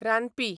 रानपी